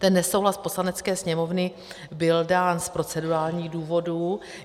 Ten nesouhlas Poslanecké sněmovny byl dán z procedurálních důvodů.